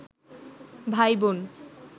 ভাইবোন